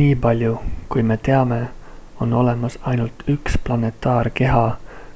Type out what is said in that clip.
"""nii palju kui me teame on olemas ainult üks planetaarkeha